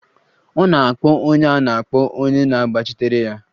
A na-akpọ onye a na-akpọ onye na-agbachitere ya.